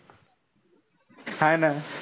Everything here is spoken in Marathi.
हा ना.